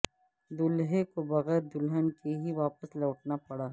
دولہے کو بغیر دلہن کے ہی واپس لوٹنا پڑا